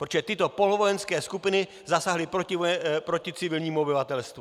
Protože tyto polovojenské skupiny zasáhly proti civilnímu obyvatelstvu.